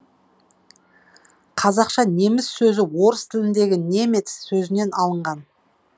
қазақша неміс сөзі орыс тіліндегі немец сөзінен алынған